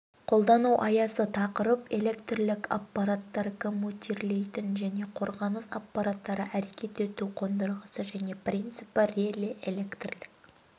қолдану аясы тақырып электрлік аппараттар коммутирлейтін және қорғаныс аппараттары әрекет ету қондырғысы және принципі реле электрлік